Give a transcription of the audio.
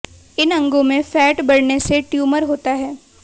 इन अंगों में फैट बढने से ट्यूमर होता है